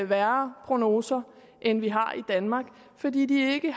værre prognoser end vi har i danmark fordi de ikke